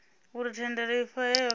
uri thendelo i fhahehwe kana